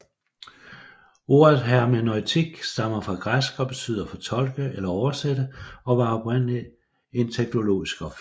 Ordet hermeneutik stammer fra græsk og betyder fortolke eller oversætte og var oprindeligt en teologisk opfindelse